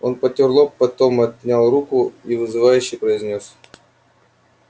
он потёр лоб потом отнял руку и вызывающе произнёс